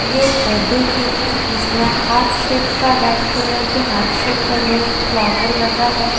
यह birthday cake है जिसमें हार्ट शेप का रेड कलर के हार्ट शेप बने है एक फ्लोर लगा है।